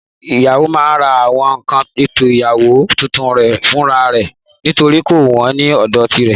Ìyàwó máa ra àwọn nkan ètò ìgbéyàwó tuntun re fúnra rẹ̀ nítorí kò wón ní òdò tirè